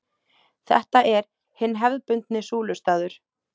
Þetta er hinn hefðbundni súlustaður.